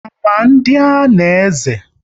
Ama ndị a na-eze?